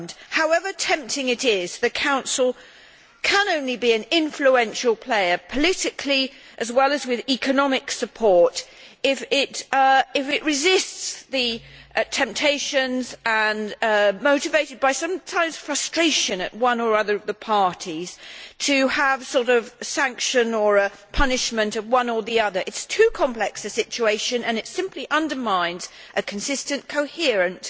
However tempting it is, the Council can only be an influential player politically, as well as with economic support, if it resists the temptations motivated sometimes by frustration at one or other of the parties to have some sort of sanctions or punish one or the other. It is too complex a situation and it simply undermines a consistent, coherent